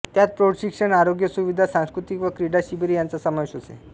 त्यात प्रौढ शिक्षण आरोग्यसुविधा सांस्कृतिक व क्रीडा शिबिरे यांचा समावेश असे